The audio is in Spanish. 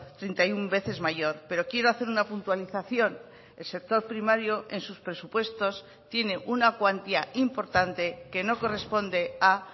treinta y uno veces mayor pero quiero hacer una puntualización el sector primario en sus presupuestos tiene una cuantía importante que no corresponde a